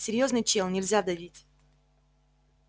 серьёзный чел нельзя давить